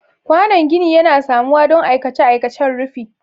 Kwanon gini yana samuwa don aikace-aikacen rufi.